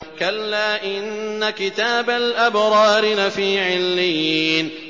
كَلَّا إِنَّ كِتَابَ الْأَبْرَارِ لَفِي عِلِّيِّينَ